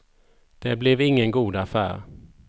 Det blev ingen god affär.